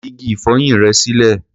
Fi igi ìfọyín rẹ sílẹ̀.